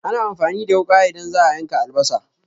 Ana amfani da wuƙa idan za'a yanka albasa